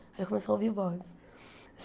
Aí começou a ouvir vozes.